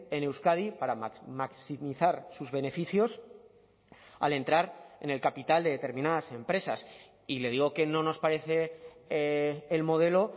en euskadi para maximizar sus beneficios al entrar en el capital de determinadas empresas y le digo que no nos parece el modelo